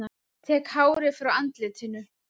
Tek hárið frá andlitinu.